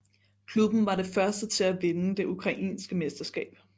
Klubben var den første til at vinde det ukrainske mesterskab